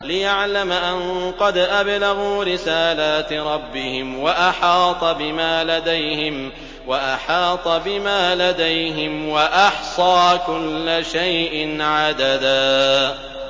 لِّيَعْلَمَ أَن قَدْ أَبْلَغُوا رِسَالَاتِ رَبِّهِمْ وَأَحَاطَ بِمَا لَدَيْهِمْ وَأَحْصَىٰ كُلَّ شَيْءٍ عَدَدًا